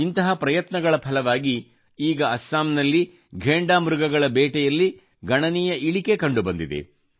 ಇಂತಹ ಪ್ರಯತ್ನಗಳ ಫಲವಾಗಿ ಈಗ ಅಸ್ಸಾಂನಲ್ಲಿ ಘೇಂಡಾ ಮೃಗಗಳ ಬೇಟೆಯಲ್ಲಿ ಗಣನೀಯ ಇಳಿಕೆ ಕಂಡು ಬಂದಿದೆ